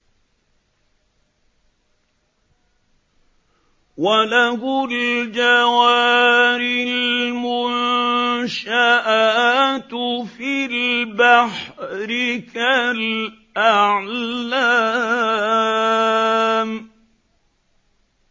وَلَهُ الْجَوَارِ الْمُنشَآتُ فِي الْبَحْرِ كَالْأَعْلَامِ